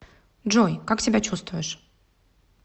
джой как себя чувствуешь